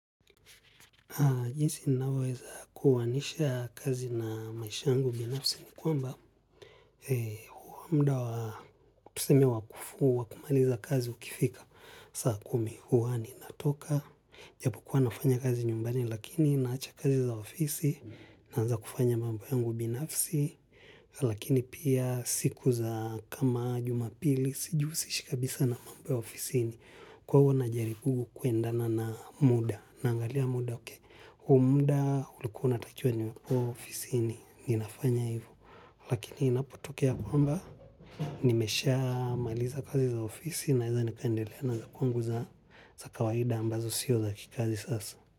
Jinsi ninavyoweza kuwanisha kazi na maisha yangu binafisi ni kwamba huwa muda wakufunga kama nimemaliza kazi ukifika saa kumi huwa ninatoka. Japokuwa nafanya kazi nyumbani lakini naacha kazi za ofisi naanza kufanya mambo yangu binafisi lakini pia siku za kama jumapili sijihusishikabisa na mambo ya ofisini. Kwa hivo najaribu kuendana na muda, naangalia muda huu muda ulikuwa natakiwe niwe ofisini ninafanya hivo, lakini inapotokea kwamba nimeshamaliza kazi za ofisi, naweza nikaendelea na za kwangu za kawaida ambazo sio za kikazi sasa.